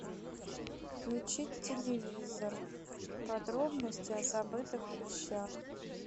включить телевизор подробности о забытых вещах